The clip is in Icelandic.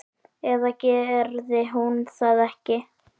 Eða gerði hún það ekki?